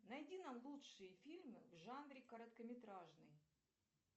найди нам лучшие фильмы в жанре короткометражные